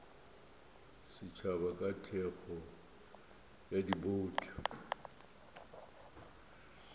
setšhaba ka thekgo ya dibouto